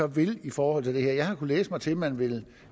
vil i forhold til det her jeg har kunnet læse mig til at man vil